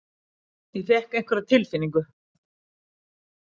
Ég fékk einhverja tilfinningu.